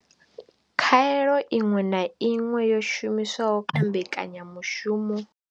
Khaelo iṅwe na iṅwe yo shumiswaho kha mbekanya mushumo.